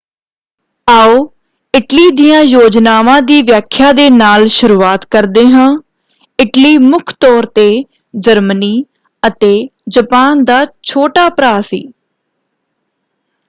ਆਓ ਇਟਲੀ ਦੀਆਂ ਯੋਜਨਾਵਾਂ ਦੀ ਵਿਆਖਿਆ ਦੇ ਨਾਲ ਸ਼ੁਰੂਆਤ ਕਰਦੇ ਹਾਂ। ਇਟਲੀ ਮੁੱਖ ਤੌਰ 'ਤੇ ਜਰਮਨੀ ਅਤੇ ਜਪਾਨ ਦਾ ਛੋਟਾ ਭਰਾ ਸੀ।